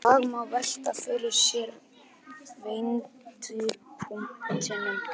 Í dag má velta fyrir sér vendipunktinum.